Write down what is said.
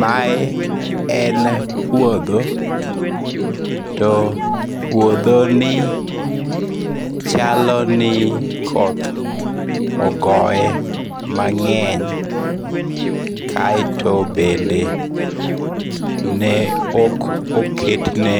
Mae en puotho, to puothoni chalo ni koth ogoye mange'ny kaeto bende ne ok oketne